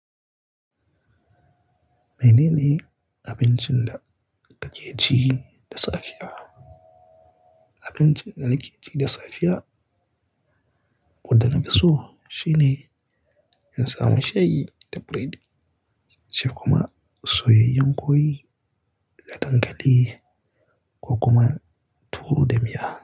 Menene abincin da kake ci da safiya? Abincin da nake ci da safiya, ko da na fiso, shine in samu shayi da biredi, sai kuma soyayyen kwai da dankali ko kuma tuwo da miya.